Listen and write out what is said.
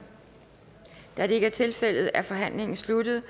da det ikke er tilfældet er forhandlingen sluttet